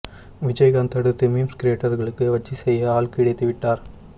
விஜயகாந்த் அடுத்து மீம்ஸ் கிரியேட்டர்களுக்கு வச்சி செய்ய ஆள் கிடைத்து விட்டார்